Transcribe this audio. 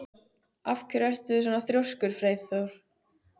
Af hverju ertu svona þrjóskur, Freyþór?